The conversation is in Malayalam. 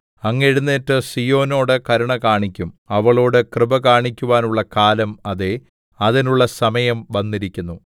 അങ്ങ് എഴുന്നേറ്റ് സീയോനോട് കരുണ കാണിക്കും അവളോടു കൃപ കാണിക്കുവാനുള്ള കാലം അതേ അതിനുള്ള സമയം വന്നിരിക്കുന്നു